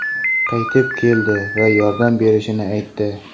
qaytib keldi va yordam berishini aytdi.